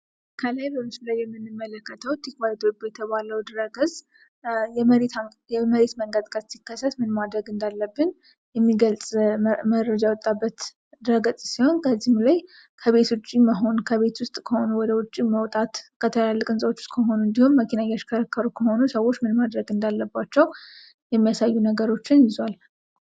ከላይ በምስሉ ላይ የምንመለከተው ቲክቫህ ኢትዮጵያ የተባለው ድኅረ ገጽ የመሬት መንቀጥቀጥ ሲከሰት ምን ማድረግ እንዳለብን የሚገልጽ መረጃ የወጣበት ድኅረ ገጽ ሲሆን ከዚህም ላይ ከቤት ውጭ መሆን ከቤት ውስጥ ከሆኑ ከቤት ውጭ መውጣት በትላልቅ ህንጻዎች ውስጥ ከሆኑ እንድሁም መኪና እያሽከረከሩ ከሆነ ሰዎች ምን ማድረግ እንዳለባቸው የሚያሳዩ ነገሮችን ይዟል።